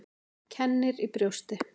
Kennir í brjósti.